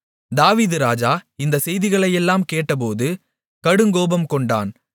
தாவீது ராஜா இந்தச் செய்திகளையெல்லாம் கேள்விப்பட்டபோது கடுங்கோபம் கொண்டான்